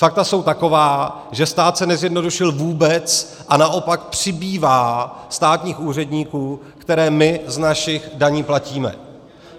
Fakta jsou taková, že stát se nezjednodušil vůbec, a naopak přibývá státních úředníků, které my z našich daní platíme.